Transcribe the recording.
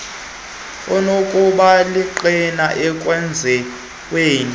onokuba lingqina ekwenziweni